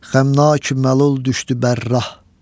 Xəmnaki məlul düşdü bərrah.